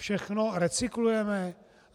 Všechno recyklujeme?